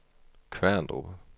Kværndrup